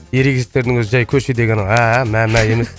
ерегестерінің өзі жай көшедегі әәә мә мә емес